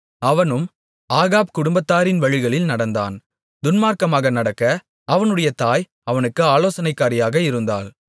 அவனும் ஆகாப் குடும்பத்தாரின் வழிகளில் நடந்தான் துன்மார்க்கமாக நடக்க அவனுடைய தாய் அவனுக்கு ஆலோசனைக்காரியாக இருந்தாள்